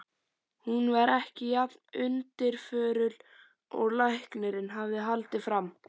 Hún var ekki jafn undirförul og læknirinn hafði haldið fram.